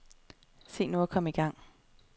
Se nu at komme i gang.